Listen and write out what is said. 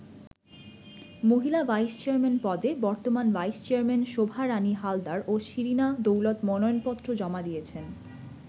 মহিলা vice chairman পদে বর্তমান ভাইস চেয়ারম্যান শোভা রাণী হালদার ও শিরিনা দৌলত মনোনয়নপত্র জমা দিয়েছেন।